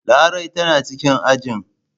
Larai tana cikin ajin.